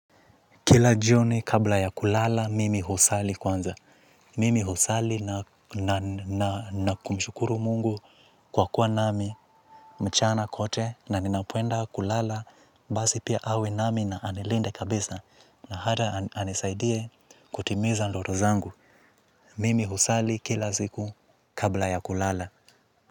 Kila jioni kabla ya kulala mimi husali kwanza. Mimi husali na na na na kumshukuru mungu kwa kuwa nami mchana kote na ninapoenda kulala basi pia awe nami na anilinde kabisa. Na hata anisaidie kutimiza ndoto zangu. Mimi husali kila siku kabla ya kulala.